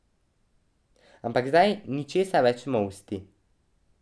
Ampak zdaj ni česa več molsti.